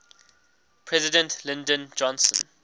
president lyndon johnson